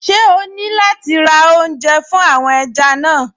Ṣé o ní láti ra oúnjẹ fún àwọn ẹja náà?